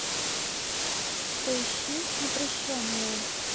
поищи непрощенная